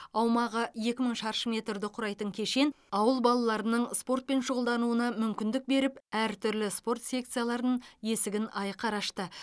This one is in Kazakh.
аумағы екі мың шаршы метрді құрайтын кешен ауыл балаларының спортпен шұғылдануына мүмкіндік беріп әртүрлі спорт секцияларының есігін айқара ашты